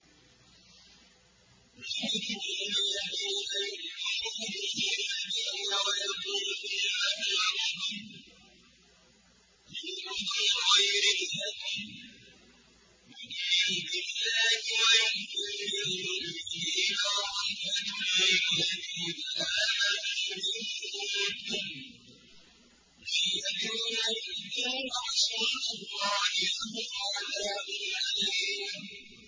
وَمِنْهُمُ الَّذِينَ يُؤْذُونَ النَّبِيَّ وَيَقُولُونَ هُوَ أُذُنٌ ۚ قُلْ أُذُنُ خَيْرٍ لَّكُمْ يُؤْمِنُ بِاللَّهِ وَيُؤْمِنُ لِلْمُؤْمِنِينَ وَرَحْمَةٌ لِّلَّذِينَ آمَنُوا مِنكُمْ ۚ وَالَّذِينَ يُؤْذُونَ رَسُولَ اللَّهِ لَهُمْ عَذَابٌ أَلِيمٌ